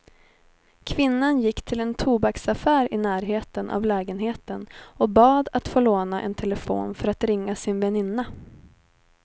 Kvinnan gick till en tobaksaffär i närheten av lägenheten och bad att få låna en telefon för att ringa sin väninna.